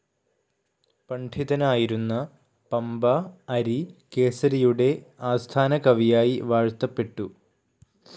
പണ്ഡിതനായിരുന്ന പമ്പ അരികേസരിയുടെ ആസ്ഥാനകവിയായി വാഴ്ത്തപ്പെട്ടു.